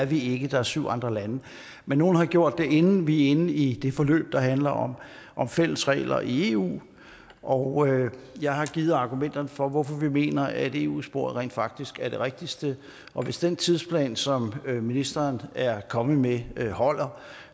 vi ikke der er syv andre lande men nogle har gjort det inden vi er inde i det forløb der handler om fællesregler i eu og jeg har givet argumenterne for hvorfor vi mener at eu sporet rent faktisk er det rigtigste og hvis den tidsplan som ministeren er kommet med med holder